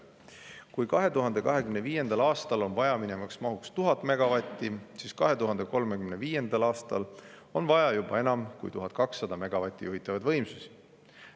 Kui 2025. aastal on vajaminev maht 1000 megavatti, siis 2035. aastal on vaja juba enam kui 1200 megavatti juhitavaid võimsusi.